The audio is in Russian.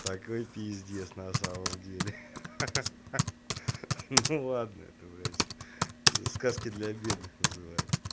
такой пиздец на самом деле ха-ха-ха ну ладно это блять сказки для бедных называется